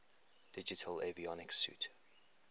digital avionics suite